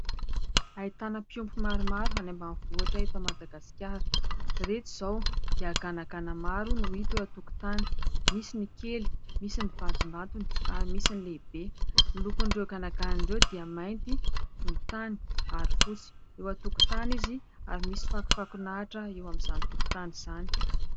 Ahitana mpiompy maromaro any ambanivohitra eto Madagasikara. Iretsy izao dia ganagana maro no hita eo an-tokotany, misy ny kely, misy ny vatom-batony ary misy ny lehibe. Ny lokon'ireo ganagana ireo dia mainty, volontany ary fotsy. eo an-tokotany izy ary misy fakofakon'ahitra eo amin'izany tokotany izany.